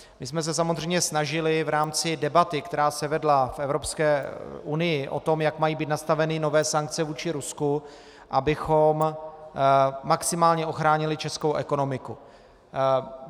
My jsme se samozřejmě snažili v rámci debaty, která se vedla v Evropské unii o tom, jak mají být nastaveny nové sankce vůči Rusku, abychom maximálně ochránili Českou ekonomiku.